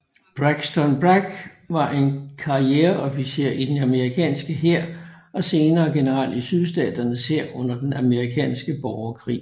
Braxton Bragg var en karriereofficer i den amerikanske hær og senere general i Sydstaternes hær under den amerikanske borgerkrig